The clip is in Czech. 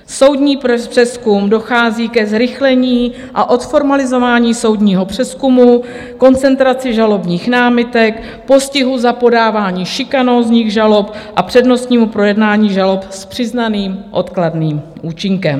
Soudní přezkum: dochází ke zrychlení a odformalizování soudního přezkumu, koncentraci žalobních námitek, postihu za podávání šikanózních žalob a přednostnímu projednání žalob s přiznaným odkladným účinkem.